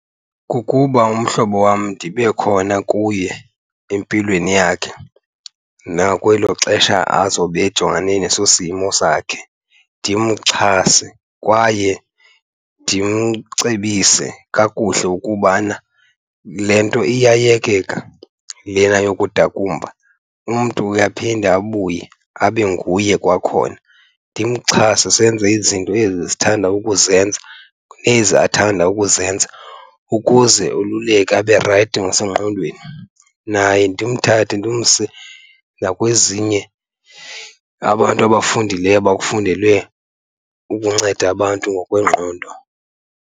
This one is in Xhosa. Kukuba umhlobo wam ndibe khona kuye empilweni yakhe nakwelo xesha azobe ejongene neso simo sakhe. Ndimxhase kwaye ndimcebise kakuhle ukubana le nto iyayekeka lena yokudakumba, umntu uye aphinde abuye abe nguye kwakhona. Ndimxhase senze izinto ezi sithanda ukuzenza, ezi athanda ukuzenza ukuze oluleke abe rayithi nasengqondweni. Naye ndimthathe ndimse nakwezinye abantu abafundileyo abakufundele ukunceda abantu ngokwengqondo.